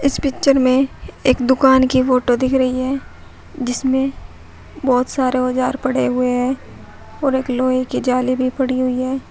इस पिक्चर में एक दुकान की फोटो दिख रही है जिसमें बहोत सारे औजार पड़े हुए हैं और एक लोहे की जाली भी पड़ी हुई है।